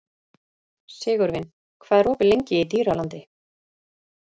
Sigurvin, hvað er opið lengi í Dýralandi?